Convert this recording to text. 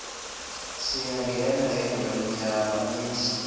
siyangena engwemnyama misa